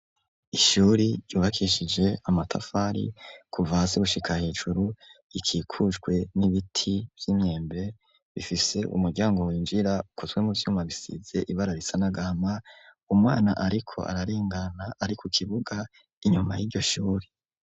Ishuri yubakishije amatafari kuva hasi gushika hejuru ikikujwe n'ibiti vy'imyembe bifise umuryango winjira ukozwe mu twuma bisize ibara risanagama umwana ariko ararengana ari ku kibuga inyuma y'iryoshuri.